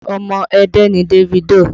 Omo Ẹdẹ ni Davido